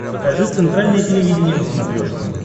покажи центральное телевидение на смотрешке